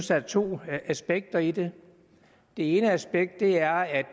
der er to aspekter i det det ene aspekt er at